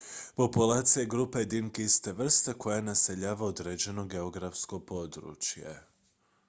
populacija je grupa jedinki iste vrste koja naseljava određeno geografsko područje